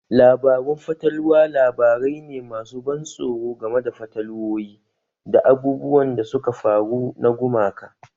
Labarun fatalwa labarai ne masu ban tsoro game da fatalwowi da abubuwan da suka faru na gumaka